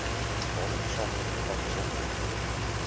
dataversameling bevat besonderhede